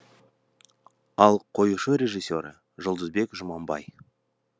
ал қоюшы режиссері жұлдызбек жұманбай